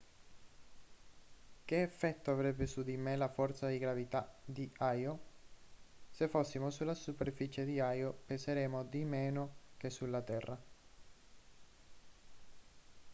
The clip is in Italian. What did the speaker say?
che effetto avrebbe su di me la forza di gravità di io se fossimo sulla superficie di io peseremmo di meno che sulla terra